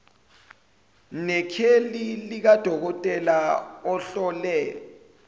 nekheli likadokotela ohlole